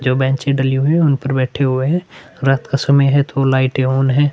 जो बेंचर डली हुई है उन पर बैठे हुए हैं रात का समय है तो लाइटे ऑन है।